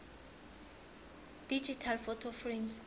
digital photo frames